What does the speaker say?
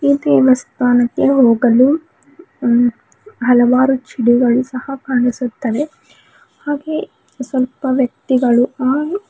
ಈ ದೇವಸ್ಥಾನಕ್ಕೆ ಹೋಗಲು ಹಲವಾರು ಚಿಡಿಗಳು ಸಹ ಕಾಣಿಸುತ್ತವೆ ಹಾಗೆ ಸ್ವಲ್ಪ ವ್ಯಕ್ತಿಗಳು ಆ--